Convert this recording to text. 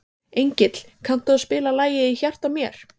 Engill, kanntu að spila lagið „Í hjarta mér“?